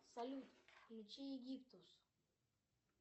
салют включи египтус